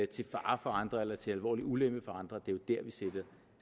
til fare for andre eller til alvorlig ulempe for andre at vi